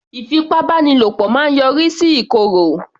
Ìfipábánilo máa yọrí sí ìkòrò